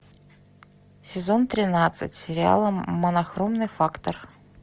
сезон тринадцать сериала монохромный фактор